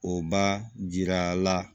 O ba jira la